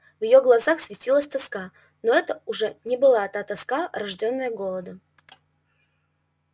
в её глазах светилась тоска но это уже не была тоска рождённая голодом